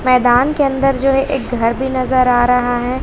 मैदान के अंदर जो एक घर भी नजर आ रहा है।